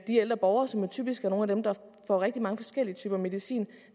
ældre borgere som typisk er nogle af dem der får rigtig mange forskellige typer medicin